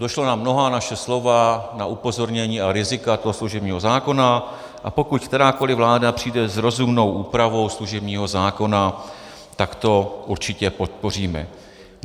Došlo na mnohá naše slova, na upozornění a rizika toho služebního zákona, a pokud kterákoli vláda přijde s rozumnou úpravou služebního zákona, tak to určitě podpoříme.